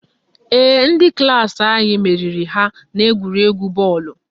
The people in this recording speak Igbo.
Ee, ndị klaasị anyị meriri ha n'egwuregwu bọọlụ